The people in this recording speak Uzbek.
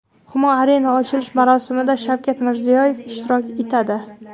Humo Arena ochilish marosimida Shavkat Mirziyoyev ishtirok etadi.